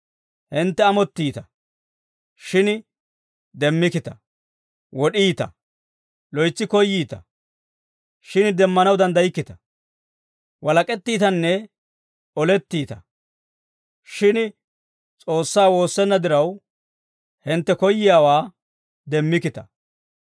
Hintte amottiita; shin demmikkita; wod'iita. Loytsi koyyiita; shin demmanaw danddaykkita; walak'ettiitanne olettiita. Shin S'oossaa woossenna diraw, hintte koyiyaawaa demmikkita.